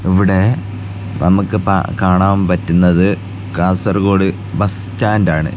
ഇവിടെ നമ്മക്ക് പ കാണാൻ പറ്റുന്നത് കാസർഗോഡ് ബസ് സ്റ്റാൻഡ് ആണ്.